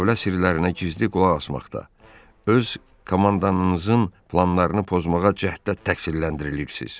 Dövlət sirlərinə gizli qulaq asmaqda, öz komandanızın planlarını pozmağa cəhddə təqsirləndirilirsiniz.